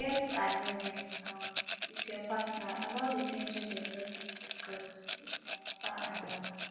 get agreement um with your partner about di things wey dem no fit discuss with their papa and mama